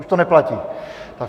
Už to neplatí.